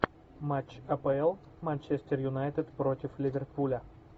матч апл манчестер юнайтед против ливерпуля